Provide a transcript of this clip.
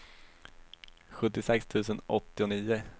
sjuttiosex tusen åttionio